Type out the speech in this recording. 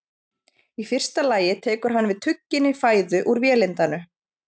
Í fyrsta lagi tekur hann við tugginni fæðu úr vélindanu.